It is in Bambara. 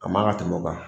A man ka tɛmɛ o kan